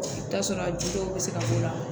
I bi t'a sɔrɔ juw bi se ka k'o la